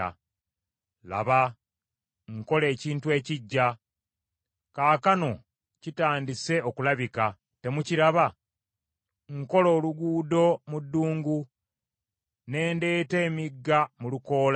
Laba, nkola ekintu ekiggya! Kaakano kitandise okulabika, temukiraba? Nkola oluguudo mu ddungu ne ndeeta emigga mu lukoola.